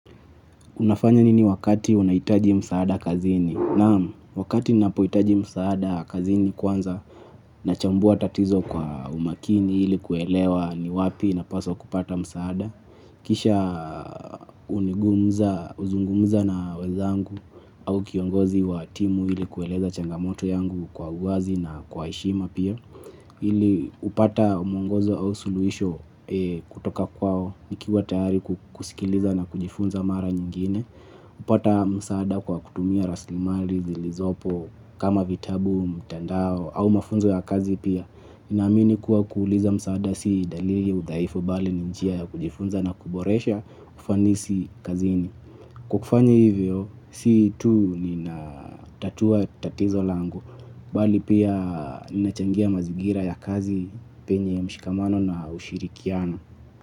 Unafanya nini wakati unahitaji msaada kazini? Naam, wakati napohitaji msaada kazini kwanza na chambua tatizo kwa umaakini ili kuelewa ni wapi napaswa kupata msaada. Kisha hunigumza, huzungumza na wezangu au kiongozi wa timu ili kueleza changamoto yangu kwa uwazi na kwa heshima pia. Ili kupata mwongozo au suluhisho kutoka kwao nikiwa tayari kusikiliza na kujifunza mara nyingine. Kupata msaada kwa kutumia raslimari, zilizopo, kama vitabu, mtandao, au mafunzo ya kazi pia. Ninaamini kuwa kuuliza msaada si dalili ya udhaifu bali ni njia ya kujifunza na kuboresha ufanisi kazini. Kwa kufanya hivyo, si tu ninatatua tatizo lango, bali pia ninachangia mazigira ya kazi penye mshikamano na ushirikiano.